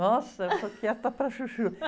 Nossa, eu sou quieta para a chuchu.